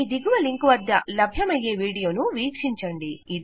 ఈ దిగువ లింకు వద్ద లభ్యమయ్యే వీడియోను వీక్షించండి